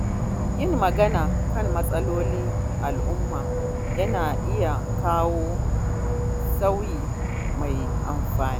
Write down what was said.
Yin magana kan matsalolin al’umma yana iya kawo sauyi mai amfani.